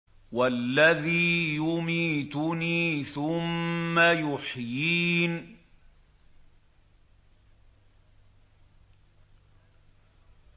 وَالَّذِي يُمِيتُنِي ثُمَّ يُحْيِينِ